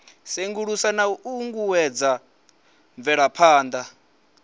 sengulusa na u uuwedza mvelaphana